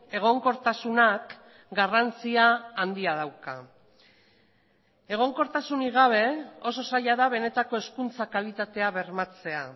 egonkortasunak garrantzia handia dauka egonkortasunik gabe oso zaila da benetako hezkuntza kalitatea bermatzea